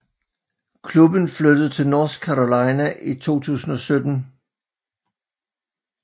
Klubben flyttede til North Carolina i 2017